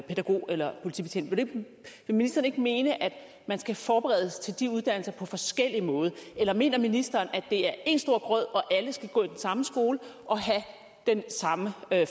pædagog eller politibetjent vil ministeren ikke mene at man skal forberedes til de uddannelser på forskellig måde eller mener ministeren at det er én stor grød og at alle skal gå i den samme skole og have den samme